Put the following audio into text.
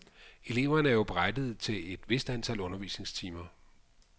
Eleverne er jo berettiget til et vist antal undervisningstimer.